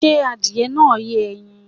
Did the chicken lay eggs?